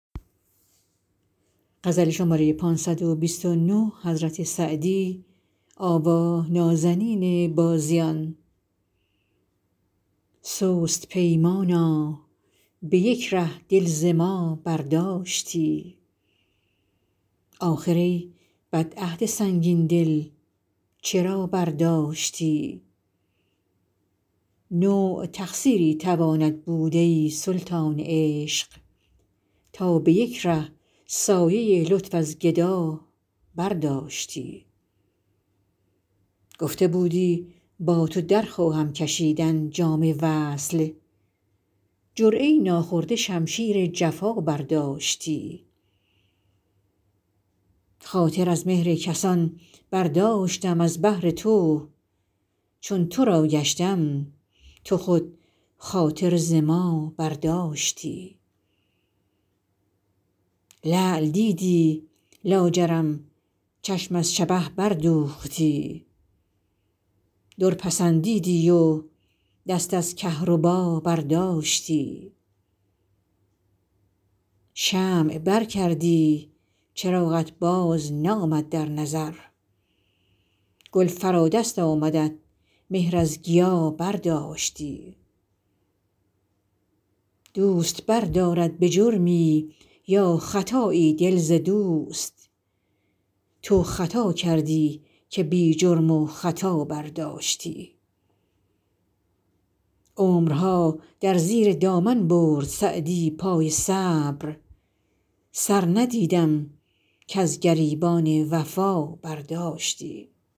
سست پیمانا به یک ره دل ز ما برداشتی آخر ای بد عهد سنگین دل چرا برداشتی نوع تقصیری تواند بود ای سلطان عشق تا به یک ره سایه لطف از گدا برداشتی گفته بودی با تو در خواهم کشیدن جام وصل جرعه ای ناخورده شمشیر جفا برداشتی خاطر از مهر کسان برداشتم از بهر تو چون تو را گشتم تو خود خاطر ز ما برداشتی لعل دیدی لاجرم چشم از شبه بردوختی در پسندیدی و دست از کهربا برداشتی شمع بر کردی چراغت بازنامد در نظر گل فرا دست آمدت مهر از گیا برداشتی دوست بردارد به جرمی یا خطایی دل ز دوست تو خطا کردی که بی جرم و خطا برداشتی عمرها در زیر دامن برد سعدی پای صبر سر ندیدم کز گریبان وفا برداشتی